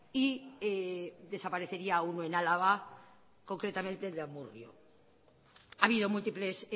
y desaparecería uno en álava concretamente el de amurrio ha habido múltiples